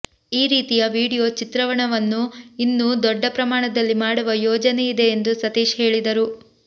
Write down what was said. ಈ ರೀತಿಯ ವಿಡಿಯೋ ಚಿತ್ರಣವನ್ನು ಇನ್ನೂ ದೊಡ್ಡ ಪ್ರಮಾಣದಲ್ಲಿ ಮಾಡುವ ಯೋಜನೆಯಿದೆ ಎಂದು ಸತೀಶ್ ಹೇಳಿದರು